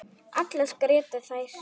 Allar grétu þær.